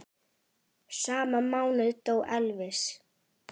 Sama mánuð dó Elvis.